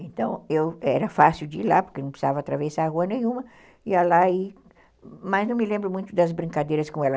Então, eu era fácil de ir lá, porque não precisava atravessar a rua nenhuma, ia lá e... Mas não me lembro muito das brincadeiras com ela.